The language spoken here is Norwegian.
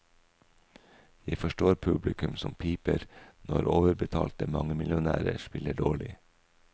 Jeg forstår publikum som piper når overbetalte mangemillionærer spiller dårlig.